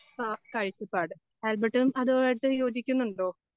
ആ കാഴ്ചപ്പാട്. ആൽബർട്ടും അതുവായിട്ട് യോജിക്കുന്നുണ്ടോ?